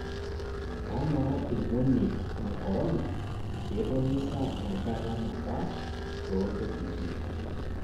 kamaa irmonek le korona ketoni sa enkata nabaa toontkiting'